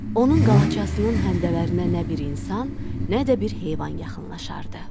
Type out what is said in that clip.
Onun qalaçasının həndəvərinə nə bir insan, nə də bir heyvan yaxınlaşardı.